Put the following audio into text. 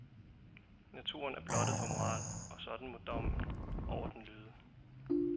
Naturen er blottet for moral, og sådan må dommen over den lyde.